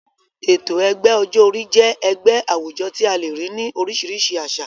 Ètò ẹgbẹ́ ọjọ́ orí jẹ́ ẹgbẹ́ àwùjọ tí a le rí ní oríṣìíríṣìí àsà.